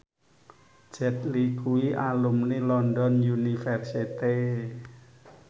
Jet Li kuwi alumni London University